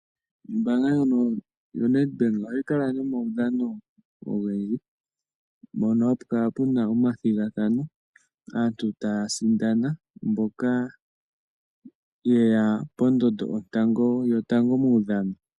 Ombanga ndjono yoNedbank ohayi kala nomaudhano ogendji mpono hapu kala omathigathano aantu taasindana mpoka aantu ye ya pondondo yotango momaudhano.